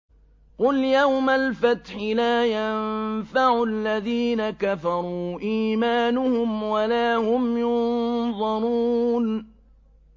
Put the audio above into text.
قُلْ يَوْمَ الْفَتْحِ لَا يَنفَعُ الَّذِينَ كَفَرُوا إِيمَانُهُمْ وَلَا هُمْ يُنظَرُونَ